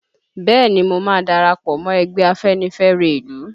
Bẹ́ẹ̀ni mo ma darapọ̀ mọ́ ẹgbẹ́ Afenifẹre ìlú